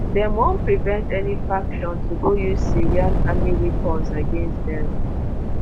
"dem wan prevent any faction to go use syrian army weapons against dem."